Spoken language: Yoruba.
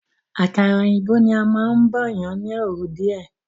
Àkàrà òyìnbó ni a máún bọ̀yan ni oru díè.